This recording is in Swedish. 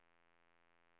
positivt